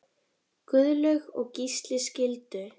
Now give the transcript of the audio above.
Guðlaug og Gísli skildu.